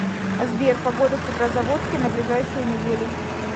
сбер погода в петрозаводске на ближайшую неделю